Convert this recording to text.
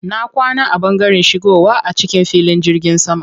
Na kwana a ɓangaren shigowa a cikin filin jirgin sama.